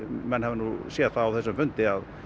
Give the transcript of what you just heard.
menn hafi séð það á þessum fundi að